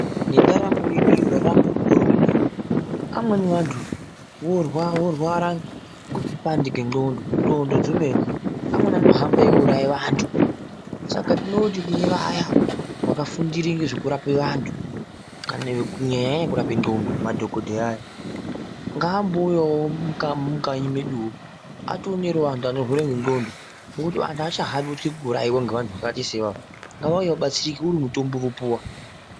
Nendaramo yedu iyi yavamo mukore unowu amweni wandu vorwa vorwara ngrkupandike ndxondo ndxondo dzemene amweni anohamba eyi wuraye vandu saka tinoti kune vaya vakafundire zvekurapa vandu kana kunyanya iyi yekurape ndxondo madhokoteya ayaa ngaambouyawo mumukanyi meduwo ationerewo wandu anorwara nendxondo ngekuti wandu haakutombaitye kuurayiwe nevandu vakaita sevava.